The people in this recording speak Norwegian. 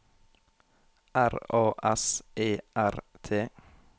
R A S E R T